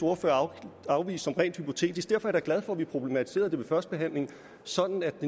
ordfører afviste som rent hypotetisk derfor er glad for at vi problematiserede det ved førstebehandlingen sådan at